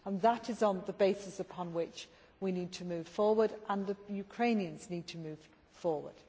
That is the basis upon which we need to move forward, and the Ukrainians need to move forward.